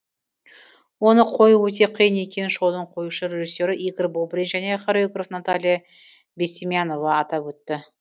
оны қою өте қиын екенін шоудың қоюшы режиссері игорь бобрин және хореограф наталья бестемьянова атап өтті